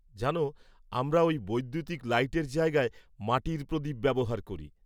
জানো, আমরা ওই বৈদ্যুতিক লাইটের জায়গায় মাটির প্রদীপ ব্যবহার করি।